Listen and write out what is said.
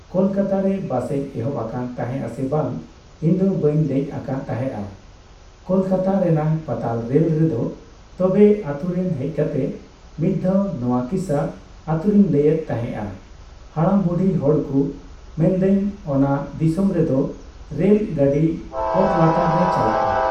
ᱠᱚᱞᱠᱟᱛᱟ ᱨᱮ ᱵᱟᱥᱮᱡ ᱮᱦᱚᱵ ᱟᱠᱟᱱ ᱛᱟᱦᱮᱸᱜ ᱟᱥᱮ ᱵᱟᱝ ᱤᱧᱫᱚ ᱵᱟᱹᱧ ᱫᱮᱡ ᱟᱠᱟᱱ ᱛᱟᱦᱮᱸᱜᱼᱟ ᱠᱳᱞᱠᱟᱛᱟ ᱨᱮᱱᱟᱜ ᱯᱟᱛᱟᱞ ᱨᱮᱞ ᱨᱮᱫᱚ ᱛᱚᱵᱮ ᱟᱛᱳᱨᱮ ᱦᱮᱡ ᱠᱟᱛᱮᱜ ᱢᱤᱫᱽᱫᱷᱟᱣ ᱱᱚᱣᱟ ᱠᱤᱥᱟᱹ ᱟᱛᱳᱨᱮᱧ ᱞᱟᱹᱭᱮᱫ ᱛᱟᱦᱮᱸᱜᱼᱟ ᱦᱟᱲᱟᱢ ᱵᱩᱰᱦᱤ ᱦᱚᱲᱠᱩ ᱢᱮᱱᱫᱟᱹᱧ ᱚᱱᱟ ᱫᱤᱥᱟᱹᱢ ᱨᱮᱫᱚ ᱨᱮᱞ ᱜᱟᱹᱰᱤ ᱚᱛ ᱞᱟᱛᱟᱨ ᱛᱮ ᱪᱟᱞᱟᱜᱼᱟ